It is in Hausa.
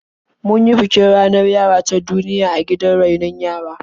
Mun yi bikin ranar yara ta duniya a gidan rainon yara.